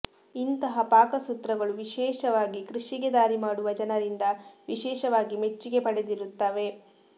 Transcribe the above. ಇಂತಹ ಪಾಕಸೂತ್ರಗಳು ವಿಶೇಷವಾಗಿ ಕೃಷಿಗೆ ದಾರಿ ಮಾಡುವ ಜನರಿಂದ ವಿಶೇಷವಾಗಿ ಮೆಚ್ಚುಗೆ ಪಡೆದಿರುತ್ತವೆ